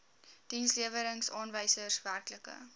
dienslewerings aanwysers werklike